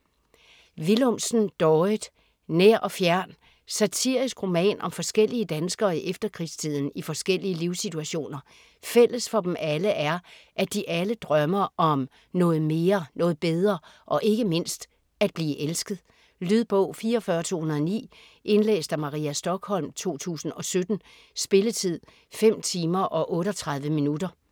Willumsen, Dorrit: Nær og fjern Satirisk roman om forskellige danskere i efterkrigstiden i forskellige livssituationer. Fælles for dem alle, er at de alle drømmer om noget mere, noget bedre og ikke mindst at blive elsket. Lydbog 44209 Indlæst af Maria Stokholm, 2017. Spilletid: 5 timer, 38 minutter.